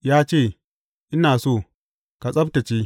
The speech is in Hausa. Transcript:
Ya ce, Ina so, ka tsabtacce!